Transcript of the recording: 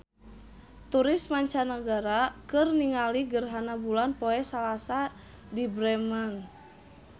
Turis mancanagara keur ningali gerhana bulan poe Salasa di Bremen